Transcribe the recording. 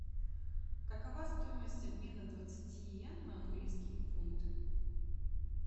какова стоимость обмена двадцати йен на английские фунты